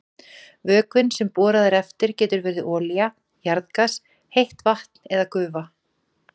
Vökvinn sem borað er eftir getur verið olía, jarðgas, heitt vatn eða gufa.